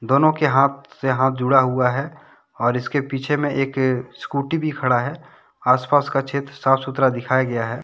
दोनो के हाथ से हाथ जुड़ा हुआ है। और इसके पीछे मे एक स्कूटी भी खड़ा है। आसपास का क्षेत्र साफ सुथरा दिखाया गया है।